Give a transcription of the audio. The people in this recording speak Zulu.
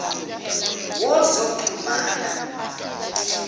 wozoxhumana